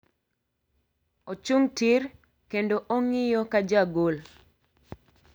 Ochung' tir kendo ong'iyo ja gol.